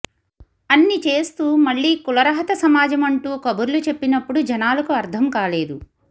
అన్నిచేస్తూ మళ్లీ కుల రహత సమాజం అంటూ కబుర్లు చెప్పినప్పుడూ జనాలకు అర్థంకాలేదు